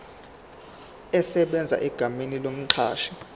esebenza egameni lomqashi